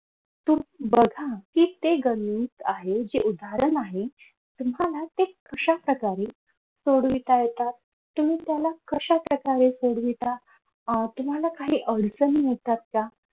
तुम्ही बघा ते गणित आहे कि जे उदाहरण आहे तुम्हाला ते कशा प्रकारे सोडविता येतात तुम्ही त्याला कश्या प्रकारे सोडविता अह तुम्हाला काही अडचणी येतात का?